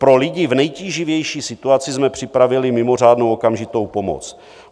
Pro lidi v nejtíživější situaci jsme připravili mimořádnou okamžitou pomoc.